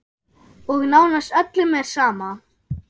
Og nánast öllum er sama.